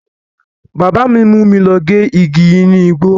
Bábà mi mú mi lọ gé igi inú igbó.